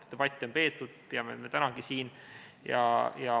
Debatte on peetud, peame seda tänagi siin.